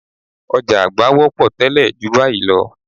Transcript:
Ọ̀já àgbá wọ́pọ̀ tẹ́lẹ̀ ju báyìí lọ